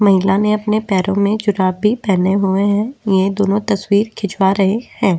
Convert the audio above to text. महिला ने अपने पैरो में जुराबे पहने हुए हैं ये दोनों तस्वीर खिंचवा रहे हैं।